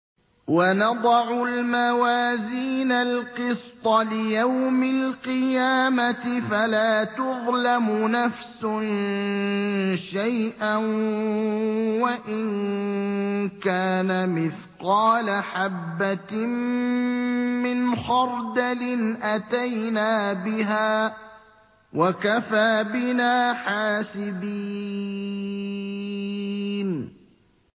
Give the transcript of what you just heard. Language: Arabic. وَنَضَعُ الْمَوَازِينَ الْقِسْطَ لِيَوْمِ الْقِيَامَةِ فَلَا تُظْلَمُ نَفْسٌ شَيْئًا ۖ وَإِن كَانَ مِثْقَالَ حَبَّةٍ مِّنْ خَرْدَلٍ أَتَيْنَا بِهَا ۗ وَكَفَىٰ بِنَا حَاسِبِينَ